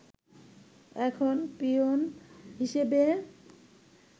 এখন পিওন হিসেবে